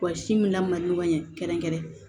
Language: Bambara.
Wa si min lamɔ ɲɛ kɛrɛnkɛrɛn